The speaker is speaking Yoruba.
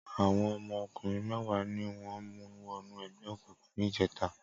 Awọn ọmọ ọkunrin mẹ̀wá niwọn mú wọ̀nú ẹgbẹ égúngún nijètá